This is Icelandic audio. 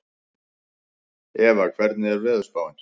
Eva, hvernig er veðurspáin?